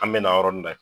An me na yɔrɔ nin na